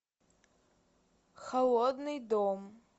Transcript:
холодный дом